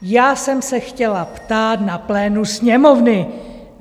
Já jsem se chtěla ptát na plénu Sněmovny.